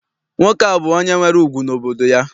Nwoke a bụ onye nwere ùgwù n'obodo ya.